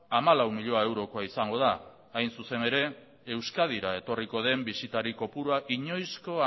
hamalau milioi eurokoa izango da hain zuzen ere euskadira etorriko den bisitari kopurua inoizko